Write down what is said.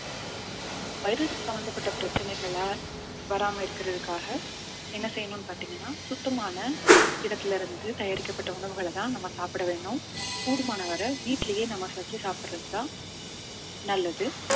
virus சம்பந்தப்பட்ட பிரச்சனைகள வராம இருக்கிறதுக்காக என்ன செய்யணும்ன்னு பார்த்தீங்கன்னா சுத்தமான இடத்திலிருந்து தயாரிக்கப்பட்ட உணவுகளைதான் நம்ம சாப்பிட வேணும் கூடுமானவரை வீட்டிலேயே நம்ம செஞ்சு சாப்பிடுறதுதான் நல்லது